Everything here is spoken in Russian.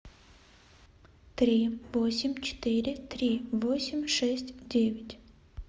три восемь четыре три восемь шесть девять